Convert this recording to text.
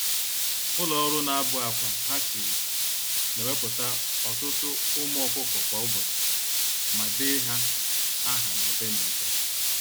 Ụlọ-ọrụ-na-abụ-ákwà (hatcheries) newepụta ọtụtụ ụmụ ọkụkọ kwa ụbọchị, ma dee ha áhà n'ụdị-n'ụdị